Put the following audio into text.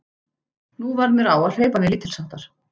Nú varð mér á að hreyfa mig lítilsháttar.